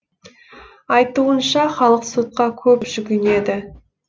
айтуынша халық сотқа көп жүгінеді